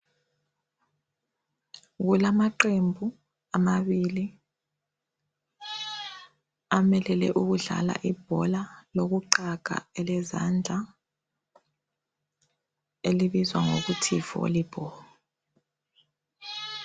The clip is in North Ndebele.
Kulamaqembu amabili amelele ukudlala ibhola lokuqaga elezandla elibizwa ngokuthi yi volleyball